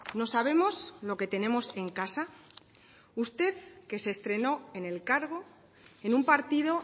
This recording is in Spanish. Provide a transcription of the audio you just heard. no sabemos lo que tenemos en casa usted que se estrenó en el cargo en un partido